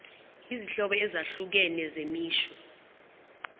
izinhlobo ezahlukene zemisho